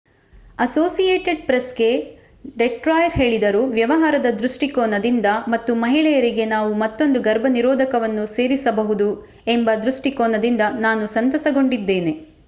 Associated ಪ್ರೆಸ್‌ಗೆ ಡೆಟ್ರಾಯರ್ ಹೇಳಿದರು. ವ್ಯವಹಾರದ ದೃಷ್ಟಿಕೋನದಿಂದ ... ಮತ್ತು ಮಹಿಳೆಯರಿಗೆ ನಾವು ಮತ್ತೊಂದು ಗರ್ಭನಿರೋಧಕವನ್ನು ಸೇರಿಸಬಹುದು ಎಂಬ ದೃಷ್ಟಿಕೋನದಿಂದ ನಾನು ಸಂತಸಗೊಂಡಿದ್ದೇನೆ.